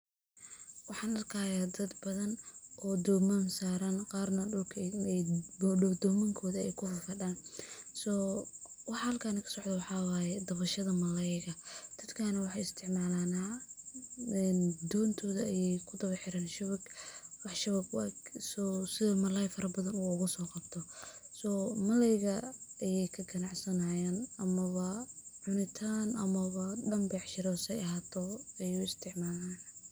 Wcan arkaya dad badan o doman saran qarna dulakay domank kufafadan so wxa halkani kasocdo wxa waye dawashada malayga dadakani wxay isticmalayan dontoda ay mudawaxiran shawig wax shawig u eg si ay malay farabadan uguso qabto so malayga kagancsansanayan ,waa cunitan ama danbecshira say ahatowa .